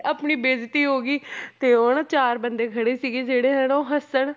ਆਪਣੀ ਬੇਇਜਤੀ ਹੋ ਗਈ ਤੇ ਉਹ ਨਾ ਚਾਰ ਬੰਦੇ ਖੜੇ ਸੀਗੇ ਜਿਹੜੇ ਹਨਾ ਉਹ ਹੱਸਣ